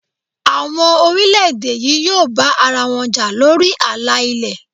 Àwọn orílẹ̀ èdè yí yóò bá ara wọn jà lórí àlà ilé.